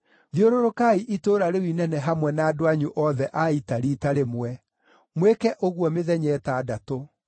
Thiũrũrũkai itũũra rĩu inene hamwe na andũ anyu othe a ita riita rĩmwe. Mwĩke ũguo mĩthenya ĩtandatũ.